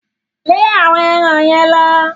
Lẹ́ àwọn eran yẹn lọ!